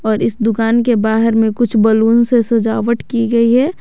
और इस दुकान के बाहर में कुछ बलून से सजावट की गई है।